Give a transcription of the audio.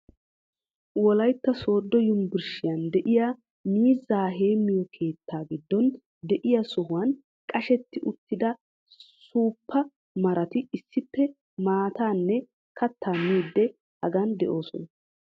Wolaytta soodo yunburshshiyan diya miizzaa heemiyo keettaa giddon diya sohuwan qashetti uttida suuppa maratti issippe maatanne kataa miiidi hagan de'oosona.